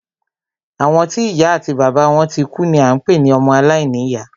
Àwọn tí ìya àti bàbá wọn tikú ni à ń pé ní ọmọ alàìní ìyá.